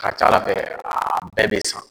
Ka ca Ala fɛ, a bɛɛ bɛ san.